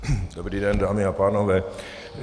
Dobrý den, dámy a pánové.